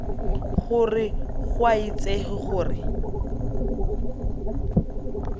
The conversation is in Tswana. gore go a itsege gore